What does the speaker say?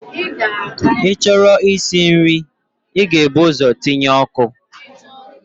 Ị chọrọ isi nri, ị ga-ebu ụzọ tinye ọkụ.